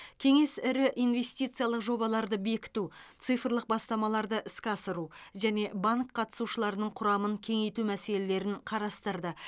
кеңес ірі инвестициялық жобаларды бекіту цифрлық бастамаларды іске асыру және банк қатысушыларының құрамын кеңейту мәселелерін қарастырды